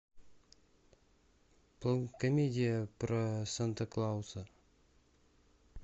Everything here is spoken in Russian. комедия про санта клауса